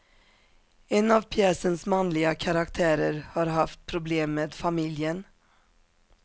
En av pjäsens manliga karaktärer har haft problem med familjen.